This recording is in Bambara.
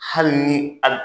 Hali ni